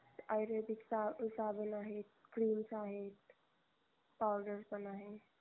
आयुर्वेदीक साबण आहेत creams आहेत powder पण आहे.